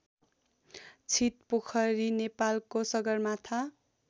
छितपोखरी नेपालको सगरमाथा